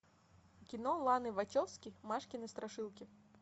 кино ланы вачовски машкины страшилки